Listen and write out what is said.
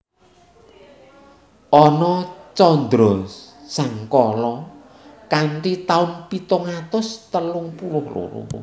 Anan candrasangkala kanthi taun pitung atus telung puluh loro